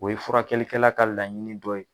O ye furakɛlikɛla ka laɲini dɔ ye